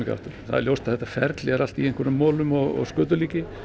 aftur það er ljóst að þetta ferli er allt í einhverjum molum og skötulíki